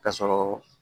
K'a sɔrɔ